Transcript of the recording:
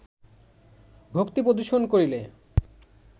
ভক্তি প্রদর্শন করিলে